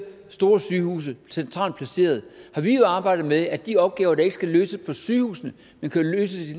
store sygehuse centralt placerede har vi jo arbejdet med at de opgaver der ikke skal løses på sygehusene men kan løses